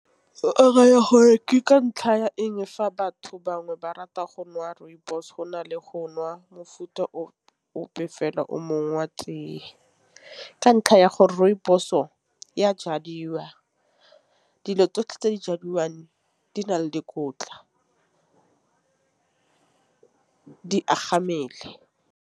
Ke ka ntlha ya eng fa batho bangwe ba rata go nwa rooibos go na le go nwa mofuta ope fela o mongwe wa teye. Ka ntlha ya gore rooibos-o e a jadiwa. Dilo tsotlhe tse di jadiwang di na le dikotla di agang mmele.